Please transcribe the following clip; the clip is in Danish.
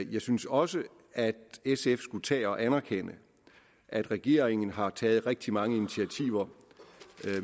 jeg synes også at sf skulle tage og anerkende at regeringen har taget rigtig mange initiativer